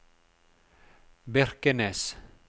Birkenes